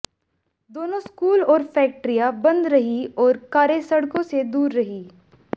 दोनों स्कूल और फैक्टरियां बंद रहीं और कारें सड़कों से दूर रहीं